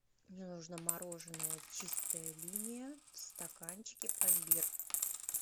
мне нужно мороженое чистая линия в стаканчике пломбир